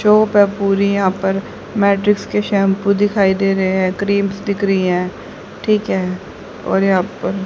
जो यहां पर मैड्रिक्स के शैंपू दिखाई दे रहे हैं क्रीम्स दिख रही है ठीक है और यहां पर--